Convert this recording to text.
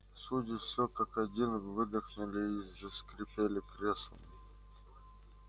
судьи всё как один выдохнули и заскрипели креслами